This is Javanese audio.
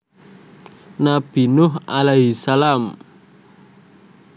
Nabi Nuh a s